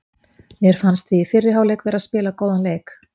Mér fannst við í fyrri hálfleik vera að spila góðan leik.